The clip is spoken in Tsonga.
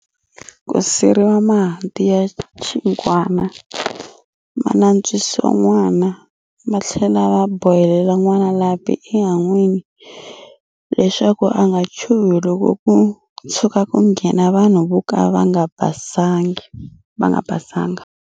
Ku siriwa mahanti ya chigwana, ma nantswisiwa n'wana, va tlhela va bohelela n'wana lapi enhan'wini leswaku a nga chuhi loko ku tshuka ku nghena vanhu vo ka va nga basanga.